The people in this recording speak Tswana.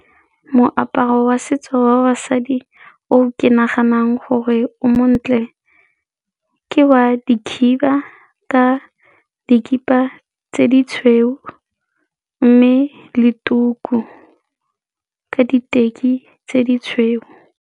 Moaparo wa setso wa basadi o ke naganang gore o montle ke wa dikhiba ka dikhipa tse di tshweu mme le tuku ka diteki tse di tshweu.